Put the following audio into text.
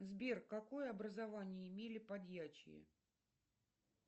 сбер какое образование имели подьячие